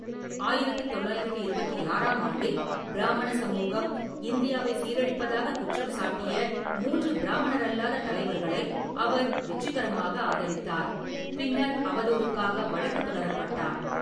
ஆயிரத்து தொள்ளாயிரத்து இருபத்தி ஆறாம் ஆண்டில், பிராமண சமூகம் இந்தியாவை சீரழிப்பதாக குற்றம் சாட்டிய மூன்று பிராமணரல்லாத தலைவர்களை அவர் வெற்றிகரமாக ஆதரித்தார், பின்னர் அவதூறுக்காக வழக்குத் தொடரப்பட்டார்.